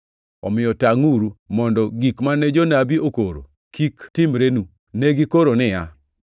Omiyo tangʼuru, mondo gik mane jonabi okoro kik timrenu. Ne gikoro niya: